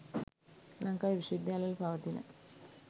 ලංකාවේ විශ්ව විද්‍යාල වල පවතින